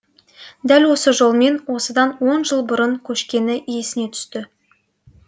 дәл осы жолмен осыдан он жыл бұрын көшкені есіне түсті